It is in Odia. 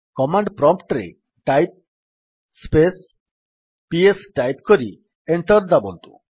କମାଣ୍ଡ୍ ପ୍ରମ୍ପ୍ଟ୍ ରେ Type space - ps ଟାଇପ୍ କରି ଏଣ୍ଟର୍ ଦାବନ୍ତୁ